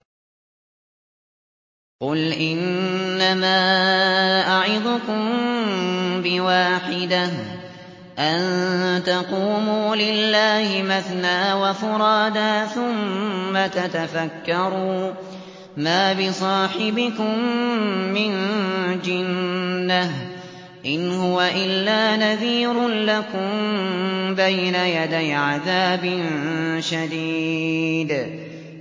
۞ قُلْ إِنَّمَا أَعِظُكُم بِوَاحِدَةٍ ۖ أَن تَقُومُوا لِلَّهِ مَثْنَىٰ وَفُرَادَىٰ ثُمَّ تَتَفَكَّرُوا ۚ مَا بِصَاحِبِكُم مِّن جِنَّةٍ ۚ إِنْ هُوَ إِلَّا نَذِيرٌ لَّكُم بَيْنَ يَدَيْ عَذَابٍ شَدِيدٍ